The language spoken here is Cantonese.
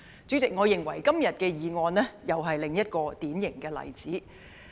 主席，我認為今天的議案又是一個典型的例子。